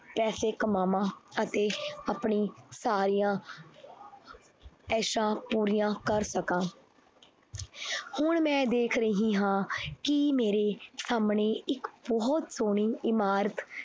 ਪੈਸੇ ਕਮਾਵਾਂ ਅਤੇ ਆਪਣੀ ਸਾਰੀਆਂ ਐਸਾਂ ਪੂਰੀਆਂ ਕਰ ਸਕਾਂ ਹੁਣ ਮੈਂ ਦੇਖ ਰਹੀ ਹਾਂ ਕਿ ਮੇਰੇ ਸਾਹਮਣੇ ਇੱਕ ਬਹੁਤ ਸੋਹਣੀ ਇਮਾਰਤ